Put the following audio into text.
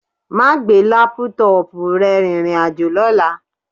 Máà gbé lápútọọ̀pù rẹ rìnrìn àjò lọ́la